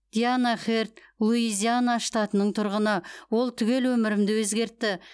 диана херд луизиана штатының тұрғыны ол түгел өмірімді өзгертті